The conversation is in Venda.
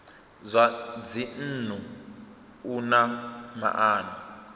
zwa dzinnu u na maana